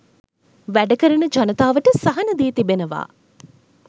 වැඩකරන ජනතාවට සහන දී තිබෙනවා.